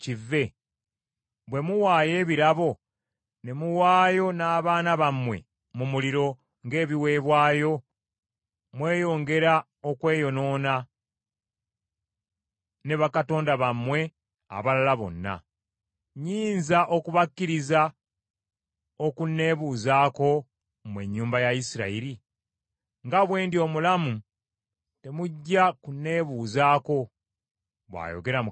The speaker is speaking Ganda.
Bwe muwaayo ebirabo, ne muwaayo n’abaana bammwe mu muliro ng’ebiweebwayo, mweyongera okweyonoona ne bakatonda bammwe abalala bonna. Nnyinza okubakkiriza okunneebuuzaako mmwe ennyumba ya Isirayiri? Nga bwe ndi omulamu temujja kunneebuuzaako, bw’ayogera Mukama Katonda.